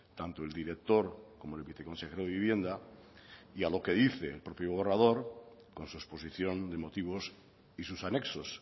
tanto el director como el viceconsejero de vivienda y a lo que dice el propio borrador con su exposición de motivos y sus anexos